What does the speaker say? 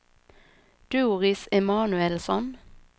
Doris Emanuelsson